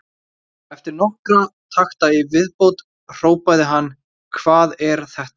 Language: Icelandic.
Eftir nokkra takta í viðbót hrópaði hann: Hvað er þetta?